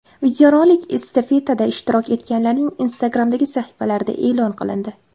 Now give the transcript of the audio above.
Videorolik estafetada ishtirok etganlarning Instagram’dagi sahifalarida e’lon qilindi.